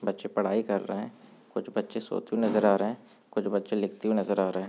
बच्चे पढ़ाई कर रहे हैं कुछ बच्चे सोते हुऐ नजर आ रहे हैं कुछ बच्चे लिखते हुऐ नजर आ रहे हैं।